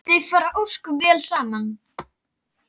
Þau fara ósköp vel saman